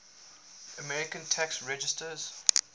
american tax resisters